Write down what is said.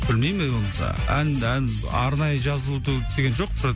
білмеймін мен оны да ән ән арнайы жазылу деген жоқ